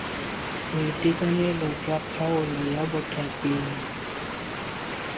boitekanelo jwa kgaolo kwa bothating